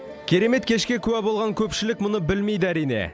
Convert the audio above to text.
керемет кешке куә болған көпшілік мұны білмейді әрине